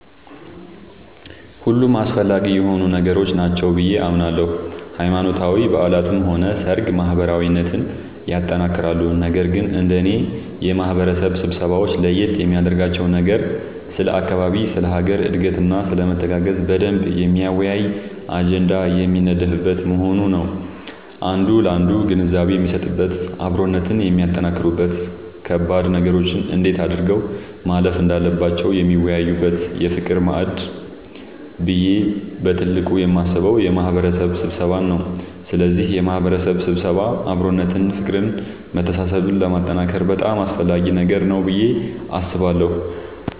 ሁሉም አስፈላጊ የሆኑ ነገሮች ናቸው ብዬ አምናለሁ ሃይማኖታዊ በዓላትም ሆነ ሰርግ ማህበራዊነትን ያጠነክራሉ ነገር ግን እንደኔ የማህበረሰብ ስብሰባወች ለየት የሚያደርጋቸው ነገር ስለ አካባቢ ስለ ሀገር እድገትና ስለመተጋገዝ በደንብ የሚያወያይ አጀንዳ የሚነደፍበት መሆኑ ነዉ አንዱ ላንዱ ግንዛቤ የሚሰጥበት አብሮነትን የሚያጠነክሩበት ከባድ ነገሮችን እንዴት አድርገው ማለፍ እንዳለባቸው የሚወያዩበት የፍቅር ማዕድ ብዬ በትልቁ የማስበው የማህበረሰብ ስብሰባን ነዉ ስለዚህ የማህበረሰብ ስብሰባ አብሮነትን ፍቅርን መተሳሰብን ለማጠንከር በጣም አስፈላጊ ነገር ነዉ ብዬ አስባለሁ።